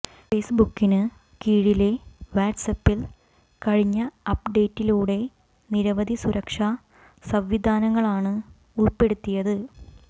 ഫേസ്ബുക്കിന് കീഴിലെ വാട്സ്ആപ്പിൽ കഴിഞ്ഞ അപ്ഡേറ്റിലൂടെ നിരവധി സുരക്ഷാ സംവിധാനങ്ങളാണ് ഉൾപ്പെടുത്തിയത്